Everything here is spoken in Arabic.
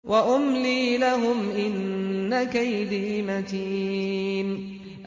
وَأُمْلِي لَهُمْ ۚ إِنَّ كَيْدِي مَتِينٌ